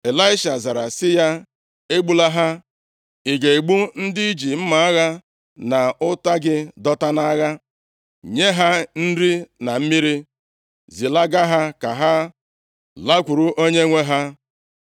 Ịlaisha zara sị ya, “Egbula ha. Ị ga-egbu ndị i ji mma agha na ụta gị dọta nʼagha? Nye ha nri na mmiri, zilaga ha ka ha lakwuru onyenwe ha.”